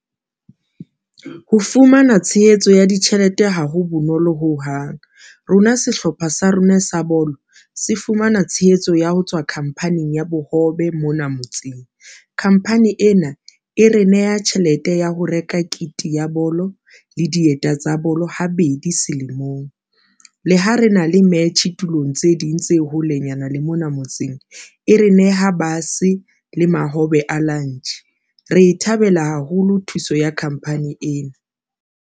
Ho fumana tshehetso ya ditjhelete ha ho bonolo hohang rona sehlopha sa rona sa bolo se fumana tshehetso ya ho tswa khampaning ya bohobe mona motseng. Khamphani ena e re neha tjhelete ya ho reka kit ya bolo le dieta tsa bolo ha bedi selemong le ha re na le metjhe tulong tse ding tse holenyana le mona motseng. E re neha bus le mahobe a lunch, re e thabela haholo thuso ya company ena.